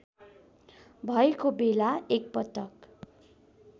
भएको बेला एकपटक